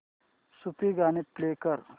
सूफी गाणी प्ले कर